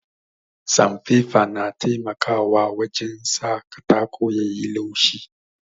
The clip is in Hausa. Sanfefa na taimakawa wajen sa katako yayi laushi